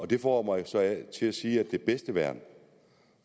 det får mig så til at sige at det bedste værn